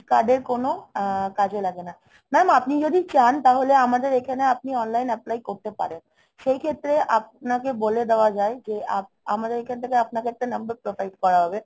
card এর কোন কাজে লাগে না। mam আপনি যদি চান তাহলে আমাদের এখানে আপনি online apply করতে পারেন। সেই ক্ষেত্রে আপনাকে বলে দেওয়া যায় যে আপ~ আমাদের এখান থেকে আপনাকে একটা number provide করা হবে.